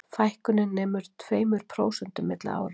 Fækkunin nemur tveimur prósentum milli ára